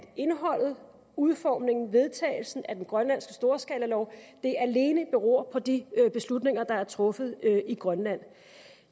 indholdet udformningen og vedtagelsen af den grønlandske storskalalov alene beror på de beslutninger der er truffet i grønland